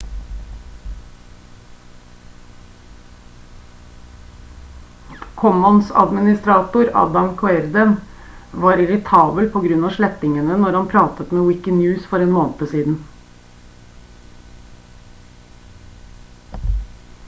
commons-administrator adam cuerden var irritabel på grunn av slettingene når han pratet med wikinews for en måned siden